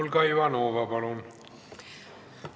Olga Ivanova, palun!